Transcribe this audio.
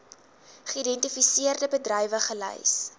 geïdentifiseerde bedrywe gelys